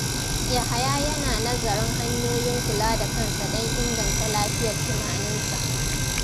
Yahaya yana nazarin hanyoyin kula da kansa don inganta lafiyar tunaninsa.